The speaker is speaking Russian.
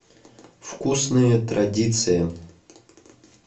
вкусные традиции